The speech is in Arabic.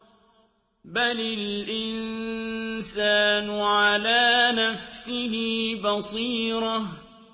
بَلِ الْإِنسَانُ عَلَىٰ نَفْسِهِ بَصِيرَةٌ